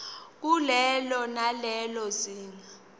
kulelo nalelo zinga